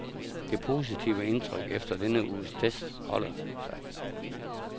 Det positive indtryk efter denne uges test holder sig.